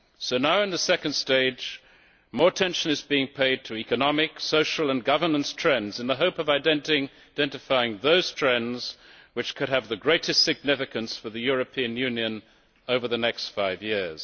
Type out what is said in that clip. So now, in the second stage, more attention is being paid to economic, social and governance trends in the hope of identifying those trends which could have the greatest significance for the European Union over the next five years.